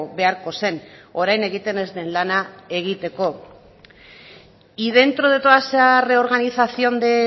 beharko zen orain egiten ez den lana egiteko y dentro de toda esa reorganización de